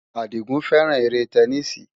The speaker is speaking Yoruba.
Àdìgún fẹ́ràn eré tẹníìsì.